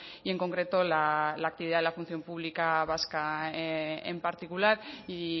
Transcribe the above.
y en concreto la actividad de la función pública vasca en particular y